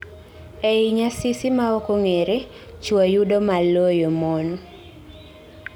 eeei nyasisi ma ok ong'ere, chuo yudo maloyo mon